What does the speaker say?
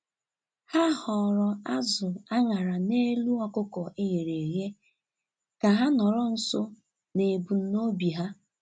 Ha họọrọ azụ̀ a ṅara n'elu ọkụkọ e ghere eghe ka ha nọrọ nso n'ebumnobi ha.